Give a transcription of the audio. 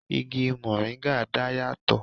Igi moringa dá yà tò